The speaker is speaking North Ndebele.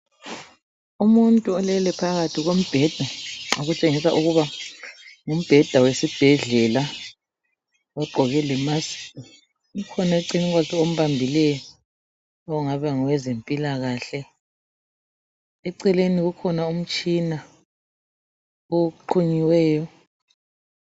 umuntu olele phakathi kombheda okutshengisa ukuba ngumbheda wesibhedlela ogqoke le mask ome eceleni kwakhe ombambileyo ongabe engowezempilakahle eceleni kukhona umtshina oqunyiweyo